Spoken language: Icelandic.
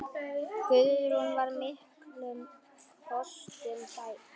Guðrún var miklum kostum gædd.